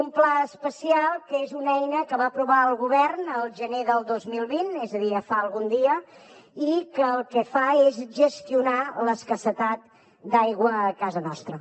un pla especial que és una eina que va aprovar el govern el gener del dos mil vint és a dir ja fa algun dia i que el que fa és gestionar l’escassetat d’aigua a casa nostra